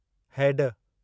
हैड